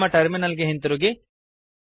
ನಮ್ಮ ಟರ್ಮಿನಲ್ ಗೆ ಹಿಂದಿರುಗಿ